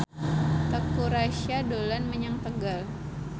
Teuku Rassya dolan menyang Tegal